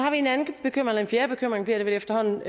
har vi en fjerde bekymring bliver det vel efterhånden